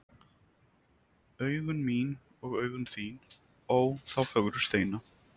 Augun mín og augun þín, ó, þá fögru steina.